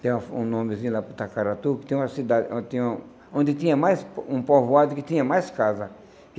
Tem um um nomezinho lá para Itacaratu, que tem uma cidade, onde tinha um onde tinha mais um povoado, que tinha mais casa.